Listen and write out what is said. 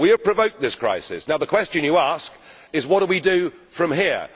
We have provoked this crisis. Now the question you ask is What do we do from here?'